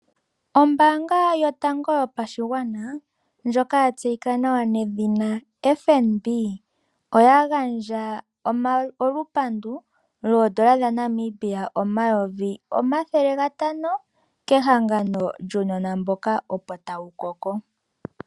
Ombaanga yotango yopashigwana ndjoka ya tseyika nawa nedhina FNB oya gandja olupandu dhoodola omayovi omathele gatano kehangano lyuunona mboka opo tawu koko.